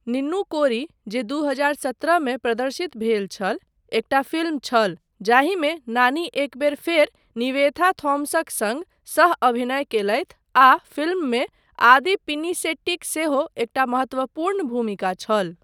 निन्नू कोरी जे दू हजार सत्रह मे प्रदर्शित भेल छल, एकटा फिल्म छल जाहिमे नानी एक बेर फेर निवेथा थॉमसक सङ्ग सह अभिनय कयलथि आ फिल्ममे आदि पिनिसेट्टीक सेहो एकटा महत्वपूर्ण भूमिका छल।